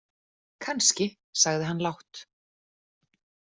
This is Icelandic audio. Kannski, sagði hann lágt.